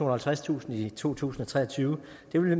og halvtredstusind i to tusind og tre og tyve